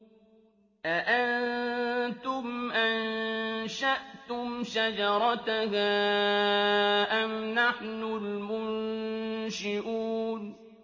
أَأَنتُمْ أَنشَأْتُمْ شَجَرَتَهَا أَمْ نَحْنُ الْمُنشِئُونَ